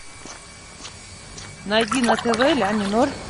найди на тв ля минор